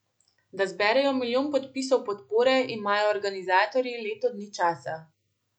Da zberejo milijon podpisov podpore, imajo organizatorji leto dni časa.